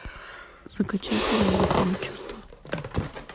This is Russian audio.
закачай сериал восьмое чувство